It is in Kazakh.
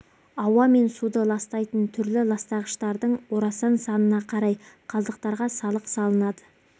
ауа мен суды ластайтын түрлі ластағыштардың орасан санына қарай қалдықтарға салық салынады